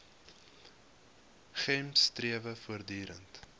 gems strewe voortdurend